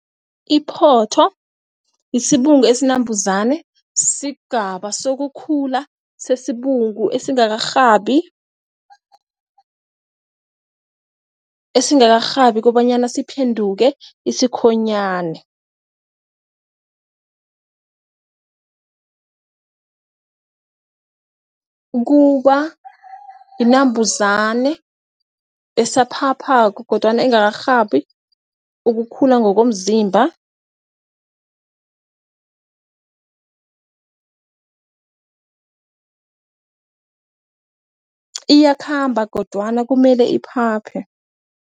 Iphotho yisibungu esinabhuzane sigaba sokukhula sesibungu esingakarhabi esingakarhabi kobanyana siphenduke isikhonyane kubayinambuzane asaphaphako kodwana engakarhabi ukukhula ngokomzimba iyakhamba kodwana kumele iphaphe.